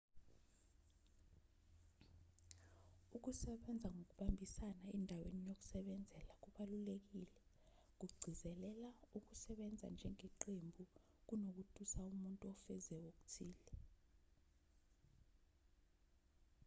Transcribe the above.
ukusebenza ngokubambisana endaweni yokusebenzela kubalulekile ukugcizelela ukusebenza njengeqembu kunokutusa umuntu ofeze okuthile